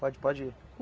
Pode, pode ir.